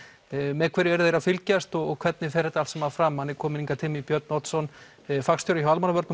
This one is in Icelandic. með hverju eru þeir að fylgjast og hvernig fer þetta allt saman fram hann er kominn hingað til mín Björn Oddson fagstjóri hjá Almannavörnum